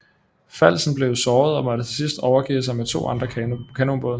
Falsen blev såret og måtte til sidst overgive sig med to andre kanonbåde